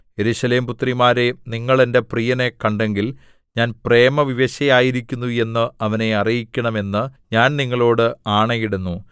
യെരൂശലേം പുത്രിമാരേ നിങ്ങൾ എന്റെ പ്രിയനെ കണ്ടെങ്കിൽ ഞാൻ പ്രേമവിവശയായിരിക്കുന്നു എന്ന് അവനെ അറിയിക്കണം എന്ന് ഞാൻ നിങ്ങളോട് ആണയിടുന്നു